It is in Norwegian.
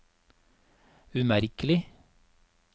umerkelig